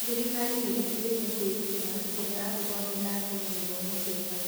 Thirikari nĩ ĩtigĩte kwĩrutĩra kũhe andũ othe a Kenya gĩthomo kĩega.